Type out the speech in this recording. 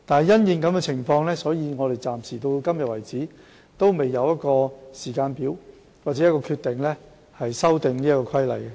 因應這個情況，直至今天為止，我們仍未有時間表或決定修訂《規例》。